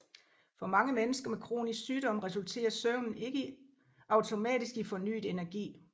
For mange mennesker med kronisk sygdom resulterer søvnen ikke automatisk i fornyet energi